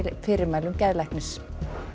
fyrirmælum geðlæknis